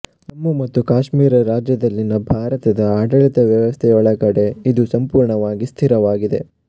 ಜಮ್ಮು ಮತ್ತು ಕಾಶ್ಮೀರ ರಾಜ್ಯದಲ್ಲಿನ ಭಾರತದ ಆಡಳಿತ ವ್ಯವಸ್ಥೆಯೊಳಗಡೆ ಇದು ಸಂಪೂರ್ಣವಾಗಿ ಸ್ಥಿತವಾಗಿದೆ